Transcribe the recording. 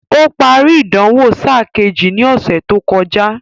Ó parí ìdánwò sáà kejì ní ọ̀sẹ̀ tó kọjá